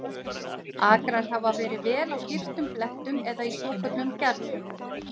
Akrar hafa verið á vel girtum blettum eða í svokölluðum gerðum.